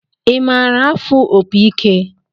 I maara afụ opi ike?